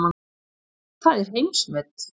Það er heimsmet.